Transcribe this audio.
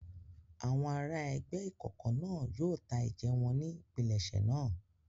Àwọn ará ẹgbẹ́ ìkọ̀kọ̀ náà yóò ta ẹ̀jẹ̀ wọn ní ìpilẹ̀ṣẹ̀ náà.